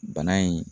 Bana in